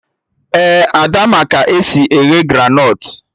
Ee, Ada ma ka esi eghe granọt